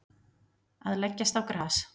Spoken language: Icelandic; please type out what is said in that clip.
Að leggjast á gras